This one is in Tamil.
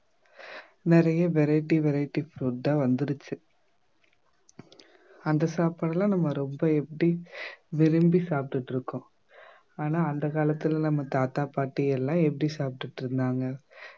நிறைய variety variety food ஆ வந்திருச்சு அந்த சாப்பாடு எல்லாம் நம்ம ரொம்ப எப்படி விரும்பி சாப்பிட்டிட்டிருக்கோம் ஆனா அந்த காலத்துல நம்ம தாத்தா பாட்டி எல்லாம் எப்படி சாப்பிட்டிட்டிருந்தாங்க